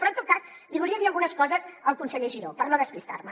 però en tot cas li volia dir algunes coses al conseller giró per no despistar me